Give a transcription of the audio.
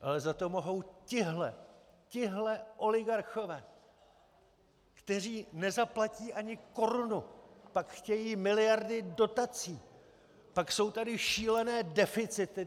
Ale za to mohou tihle, tihle oligarchové, kteří nezaplatí ani korunu, pak chtějí miliardy dotací, pak jsou tady šílené deficity.